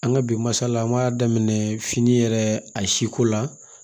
An ka bi masala an b'a daminɛ fini yɛrɛ a siko la